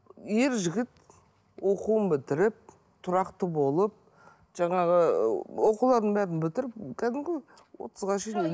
ер жігіт оқуын бітіріп тұрақты болып жаңағы ыыы оқуларын бәрін бітіріп кәдімгі отызға